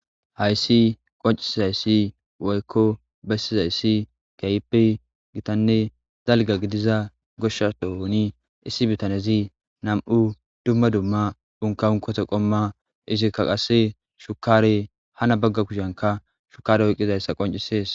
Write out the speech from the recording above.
Hayssi qoncisizayssi woykko bessizayssi kaypi gitanne dalga gidiza goshsha dohoni issi bitanezi nam'u dumma dumma unka unkoto qomma isikka qase shukare hana bagga kushyanka shukare oyqqizayssa qoncisees.